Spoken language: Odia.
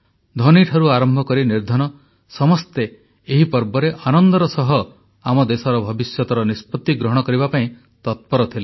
ଧନୀଠାରୁ ନିର୍ଦ୍ଧନ ସମସ୍ତେ ଏହି ପର୍ବରେ ଆନନ୍ଦର ସହ ଆମ ଦେଶର ଭବିଷ୍ୟତର ନିଷ୍ପତି ଗ୍ରହଣ କରିବା ପାଇଁ ତତ୍ପର ଥିଲେ